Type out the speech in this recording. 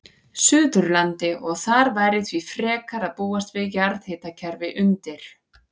Suðurlandi, og þar væri því frekar að búast við jarðhitakerfi undir.